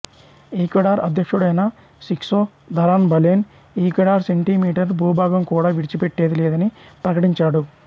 Ecuador అధ్యక్షుడైన సిక్స్తో దరాన్ బలేన్ ఈక్వెడార్ సెంటీమీటర్ భూభాగం కూడా విడిచిపెట్టేది లేదని ప్రకటించాడు